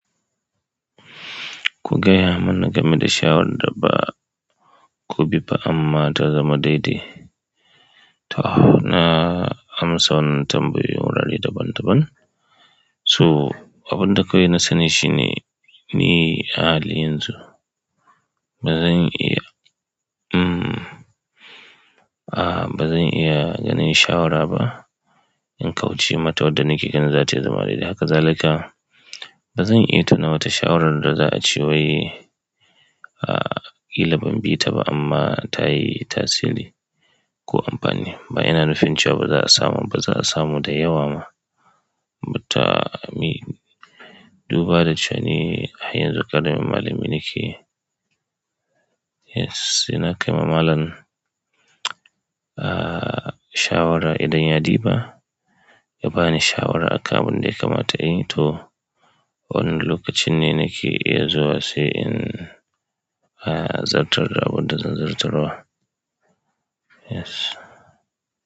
Ku gaya mana game da shawarar da ba ku bi ba amma ta zama daidai. To, na amsa wannan tambayoyin wurare daban-daban. To abinda kawai na sani shine, ni a halin yanzun ba zan iya, mm, a ba zan iya ganin shawara ba in kauce mata wadda nake ganin za ta iya zama daidai. Haka zalika bazan iya tuna wata shawarar sa za'ace wai a ƙila ban bi ta ba amma ta yi tasiri ko amfani. Ba ina nufin cewa ba za'a samu, ba za'a samu da yawa ma. But a me, duba da cewa nj har yanzu ƙaramin malami nake. Yes, ina kai ma malam, ah, shawara idan ya ɗiba, ya ba ni shawara akan abun da ya kamata in yi. To, wannan lokacin ne nake iya zuwa sai in, ah, zartar da abin da zan zartarwa. Yes.